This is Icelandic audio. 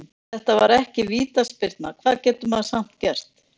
Þetta var ekki vítaspyrna, hvað getur maður samt gert?